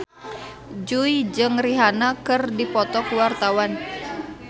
Jui jeung Rihanna keur dipoto ku wartawan